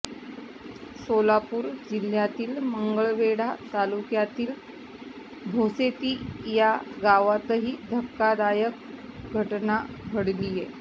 सोलापूर जिल्ह्यातील मंगळवेढा तालुक्यातील भोसेती या गावत ही धक्कादायक घटना घडलीय